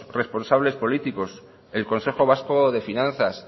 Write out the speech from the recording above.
responsables políticos el consejo vasco de finanzas